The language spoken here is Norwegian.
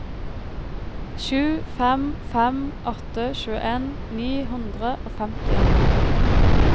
sju fem fem åtte tjueen ni hundre og femtien